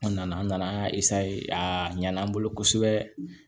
An nana an nana an y'a a ɲani an bolo kosɛbɛ